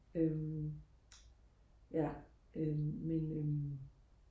øhm ja øhm men øhm